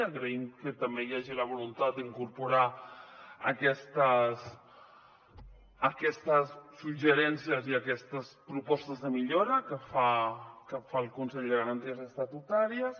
agraïm que també hi hagi la voluntat d’incorporar aquests suggeriments i aquestes propostes de millora que fa el consell de garanties estatutàries